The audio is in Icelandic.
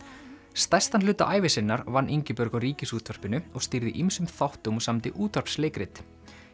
stærstan hluta ævi sinnar vann Ingibjörg á Ríkisútvarpinu og stýrði ýmsum þáttum og samdi útvarpsleikrit